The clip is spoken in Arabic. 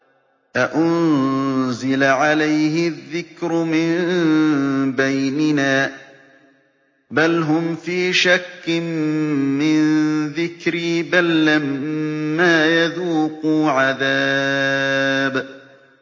أَأُنزِلَ عَلَيْهِ الذِّكْرُ مِن بَيْنِنَا ۚ بَلْ هُمْ فِي شَكٍّ مِّن ذِكْرِي ۖ بَل لَّمَّا يَذُوقُوا عَذَابِ